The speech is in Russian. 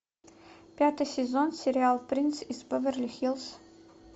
пятый сезон сериал принц из беверли хиллз